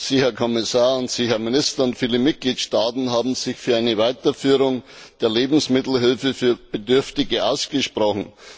Sie, Herr Kommissar, und Sie, Herr Minister, sowie viele Mitgliedstaaten haben sich für eine Weiterführung der Lebensmittelhilfe für Bedürftige ausgesprochen.